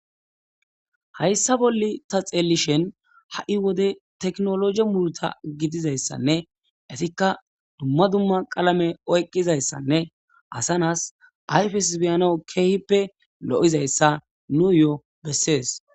Hayissa bolla ta xellishini hayi wodde tekinolojeyi ehida murruta giddidayissane duma duma qalamme oyikidayissa ta xellishini hayi wodde tekinolojeyi murutta gidizayissane assa nayais kehippe beyanawu loyizayisa.